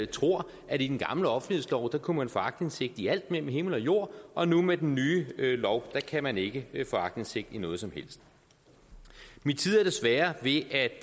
tror at i den gamle offentlighedslov kunne man få aktindsigt i alt mellem himmel og jord og nu med den nye lov kan man ikke få aktindsigt i noget som helst min tid er desværre ved at